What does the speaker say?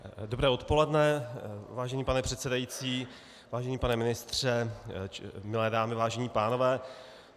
Dobré odpoledne, vážený pane předsedající, vážený pane ministře, milé dámy, vážení pánové.